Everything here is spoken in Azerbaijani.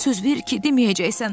Söz ver ki, deməyəcəksən.